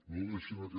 no deixin aquest